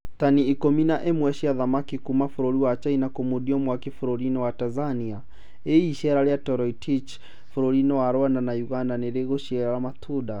Tani ikũmi na ĩmwe cia thamaki kuuma bũrũri wa China kũmundio mwaki bũrũri-inĩ wa Tanzania. Ĩ hihi iceera rĩa Toroitich bũrũri-inĩ wa Rwanda na Uganda nĩrĩgũciara matunda?